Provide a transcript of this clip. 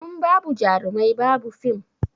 In babu jarumai ba bu fim